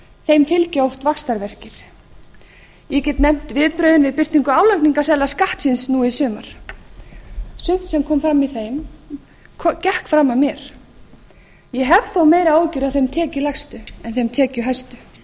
þeim fylgja oft vaxtarverkir ég get nefnt viðbrögðin við birtingu álagningarseðla skattsins nú í sumar sumt sem kom fram í þeim gekk fram af mér ég hef þó meiri áhyggjur af þeim tekjulægstu en þeim tekjuhæstu hvernig bregðumst